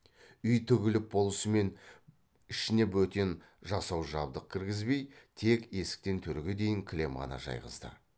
үй тігіліп болысымен ішіне бөтен жасау жабдық кіргізбей тек есіктен төрге дейін кілем ғана жайғызды